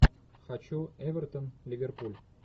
хочу эвертон ливерпуль